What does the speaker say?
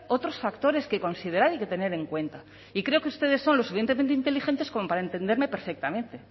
otros factores que considerar y que tener en cuenta y creo que ustedes son lo suficientemente inteligentes como para entenderme perfectamente